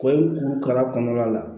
Ko kala kɔnɔna la